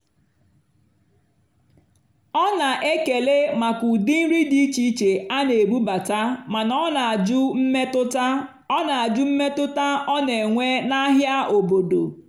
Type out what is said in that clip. ọ́ nà-ékélè màkà ụ́dị́ nrì dì íché íché á nà-èbúbátá màná ọ́ nà-àjụ́ mmétụ́tá ọ́ nà-àjụ́ mmétụ́tá ọ́ nà-ènwé n'àhịá óbòdò.